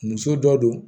Muso dɔ do